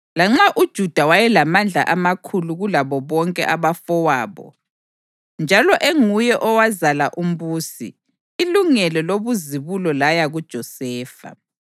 lanxa uJuda wayelamandla amakhulu kulabo bonke abafowabo njalo enguye owazala umbusi, ilungelo lobuzibulo laya kuJosefa).